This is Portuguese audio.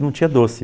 E não tinha doce.